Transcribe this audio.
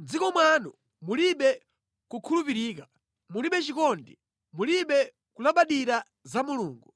“Mʼdziko mwanu mulibe kukhulupirika, mulibe chikondi mulibe kulabadira za Mulungu.